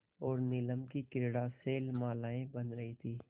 और नीलम की क्रीड़ा शैलमालाएँ बन रही थीं